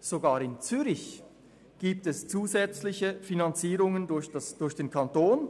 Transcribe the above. Sogar in Zürich gibt es zusätzliche Finanzierungen durch den Kanton